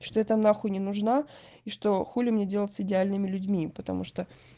что я там нахуй не нужна и что хули мне делать с идеальными людьми потому что